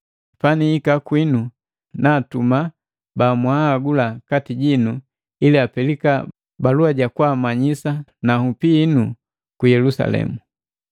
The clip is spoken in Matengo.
Panihika kwinu, naatuma bamwahagula kati jinu ili apelika balua jakwaamanyisa na nhupi hinu ku Yelusalemu.